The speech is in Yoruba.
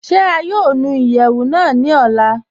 Ṣé à yóò nù ìyẹwu náà ní òlà?